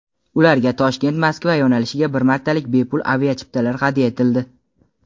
ularga Toshkent-Moskva yo‘nalishiga bir martalik bepul aviachiptalar hadya etildi.